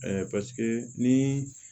paseke ni